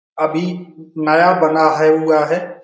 अभी नया बना है हुवा है।